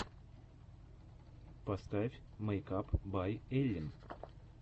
поставь мэйкап бай эллин